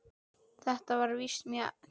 Þetta var víst mjög tæpt.